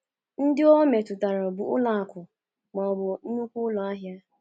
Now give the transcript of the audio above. Ndị o metụtara bụ ụlọ akụ̀ ma ọ bụ nnukwu ụlọ ahịa.